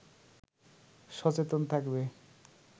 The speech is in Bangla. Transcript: সচেতন থাকবে